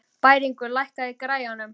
Bæringur, lækkaðu í græjunum.